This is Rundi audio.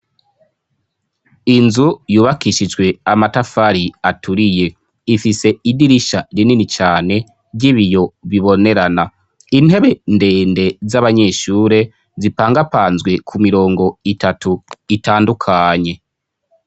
Inzu yubakishijwe amatafari aturiye ifise idirisha rinini cyane ry'ibiyo bibonerana. Intebe ndende z'abanyeshure zipangapanzwe ku mirongo itatu itandukanye.